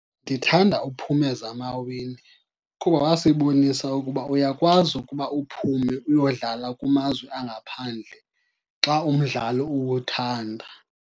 Ndithanda uPhumeza Maweni kuba wasibonisa ukuba uyakwazi ukuba uphume uyodlala kumazwe angaphandle xa umdlalo uwuthanda.